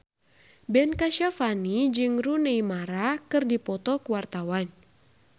Ben Kasyafani jeung Rooney Mara keur dipoto ku wartawan